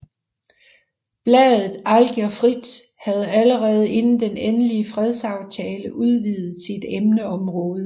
Bladet Algier Frit havde allerede inden den endelige fredsaftale udvidet sit emneområde